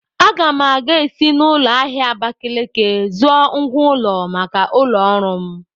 Aga m ga-esi n'ụlọ ahịa Abakaliki zụọ ngwá ụlọ maka ụlọ ọrụ m.